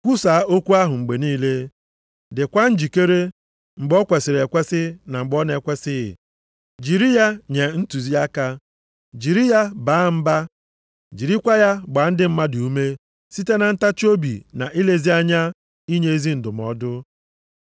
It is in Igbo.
kwusaa okwu ahụ mgbe niile; dịkwa njikere, mgbe o kwesiri ekwesi na mgbe ọ na-ekwesighị, jiri ya nye ntụziaka, jiri ya baa mba, jirikwa ya gbaa ndị mmadụ ume, site na ntachiobi na ilezi anya inye ezi ndụmọdụ.